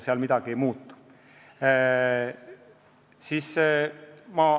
Seal midagi ei muutu.